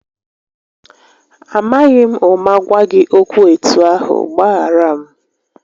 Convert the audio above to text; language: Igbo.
Amaghị m ụma gwa gị okwu etu ahụ, gbaghara m